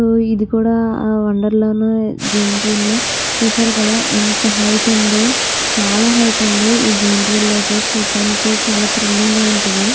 So ఇది కూడా wonder లా జైన్ట్ వీల్ చూశారు కదా ఎంత హైట్ ఉందో చాలా హైట్ ఉంది ఈ జైన్ట్ వీల్ అయితే చూడ్డానికి చాలా థ్రిల్లింగ్ గా ఉంటది.